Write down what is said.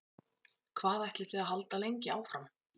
Hvað ætlið þið að halda lengi áfram?